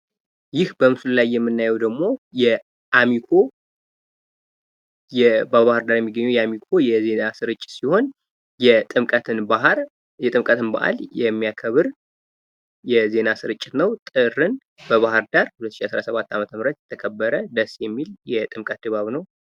ይህ በምስሉ ላይ የምናየው ደግሞ በባህር ዳር የሚገኘውን የአሚኮ የዜና ስርጭት ሲሆን የጥምቀትን በአል የሚያከብር የዜና ስርጭት ነው።